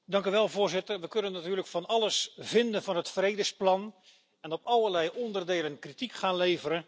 Voorzitter, wij kunnen natuurlijk van alles vinden van het vredesplan en op allerlei onderdelen kritiek gaan leveren.